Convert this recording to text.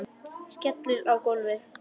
Skellur á gólfið.